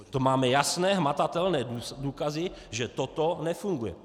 To máme jasné, hmatatelné důkazy, že toto nefunguje.